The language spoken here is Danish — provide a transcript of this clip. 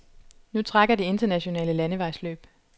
Nu trækker de internationale landevejsløb.